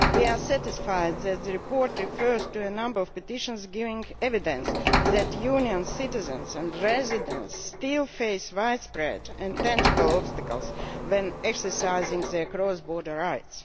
We are satisfied that the report refers to a number of petitions which give evidence that Union citizens and residents still face widespread and tangible obstacles when exercising their cross border rights.